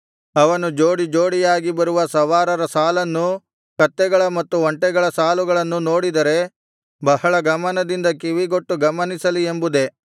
ಅವನು ಜೋಡಿ ಜೋಡಿಯಾಗಿ ಬರುವ ಸವಾರರ ಸಾಲನ್ನೂ ಕತ್ತೆಗಳ ಮತ್ತು ಒಂಟೆಗಳ ಸಾಲುಗಳನ್ನೂ ನೋಡಿದರೆ ಬಹಳ ಗಮನದಿಂದ ಕಿವಿಗೊಟ್ಟು ಗಮನಿಸಲಿ ಎಂಬುದೇ